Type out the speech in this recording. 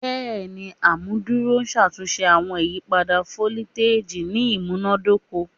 Bẹẹni, amuduro n ṣatunṣe awọn iyipada foliteji ni imunadoko